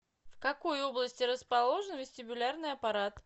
в какой области расположен вестибулярный аппарат